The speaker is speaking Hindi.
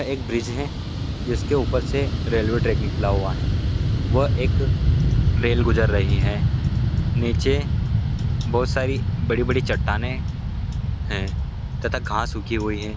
यह एक वृज है जिसके ऊपर से रेलवे ट्रेक निकला हुआ है व एक रेल गुजर रही हैं नीचे बहुत बड़ी बड़ी चट्टाने है तथा घास उगी हुई है ।